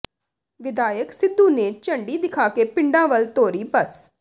ਵਿਧਾਇਕ ਸਿੱਧੂ ਨੇ ਝੰਡੀ ਦਿਖਾ ਕੇ ਪਿੰਡਾਂ ਵੱਲ ਤੋਰੀ ਬੱਸ